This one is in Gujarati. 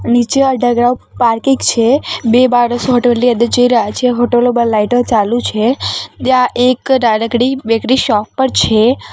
નીચે અંડરગ્રાઉન્ડ પાર્કિંગ છે બે માણસો હોટેલ ની અંદર જઈ રહ્યા છે હોટલો માં લાઈટો ચાલુ છે ત્યાં એક નાનકડી બેકરી શોપ પણ છે.